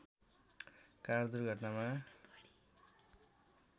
car दुर्घटनामा